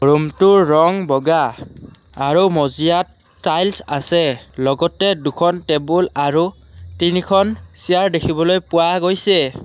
ৰুমটোৰ ৰং বগা আৰু মজিয়াত টাইলছ আছে লগতে দুখন টেবুল আৰু তিনিখন চিয়াৰ দেখিবলৈ পোৱা গৈছে।